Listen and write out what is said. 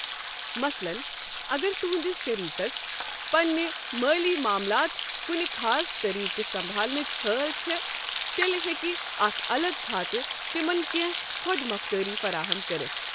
مثلن، اگر تہٕنٛدِس شٔریٖکس بنٕنۍ مٲلی معاملات کنہِ خاص طٔریٖقہٕ سبنھالنٕچ ہٲل چھےٚ، تیٚلہِ ہیٚکہِ اَکھ اَلگ کھاتہٕ تِمن کیٚنٛہہ خۄد مۄختٲری فراہم کٔرِتھ۔